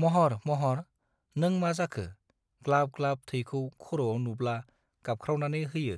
महर महर नों मा जाखो ग्लाब ग्लाब थैखौ खरआव नुब्ला गाबखावनानै होयो